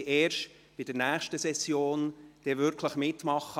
Sie wird erst ab der nächsten Session wirklich mitmachen.